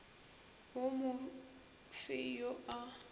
wo mo fe yo a